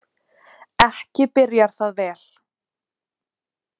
Ekki byrjar það vel.